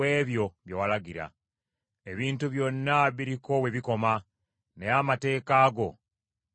Ebintu byonna biriko we bikoma naye amateeka go tegakugirwa.